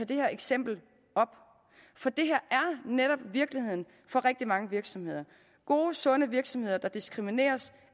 det her eksempel op for det her er netop virkeligheden for rigtig mange virksomheder gode sunde virksomheder der diskrimineres